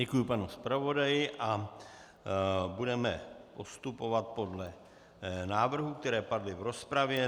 Děkuji panu zpravodaji a budeme postupovat podle návrhů, které padly v rozpravě.